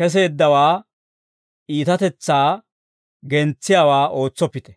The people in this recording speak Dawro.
keseeddawaa iitatetsaa gentsiyaawaa ootsoppite.